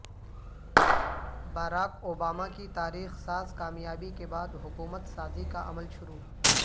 Barack Obama کی تاریخ ساز کامیابی کے بعد حکومت سازی کا عمل شروع